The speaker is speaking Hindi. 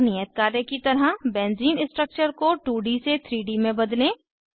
एक नियत कार्य की तरह बेंज़ीन स्ट्रक्चर को 2डी से 3डी में बदलें